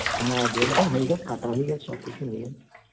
হ্যাঁ ঘুমটাও হয়ে গেছে কাটা হয়ে গেছে সবকিছু হয়ে গেছে